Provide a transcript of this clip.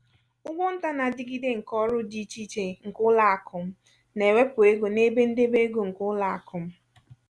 ụgwọ nta na-adigide nke ọrụ di íchè iche nke ụlọakụ m na-ewepu ego n'ebe ndebe ego nke ụlọakụ m.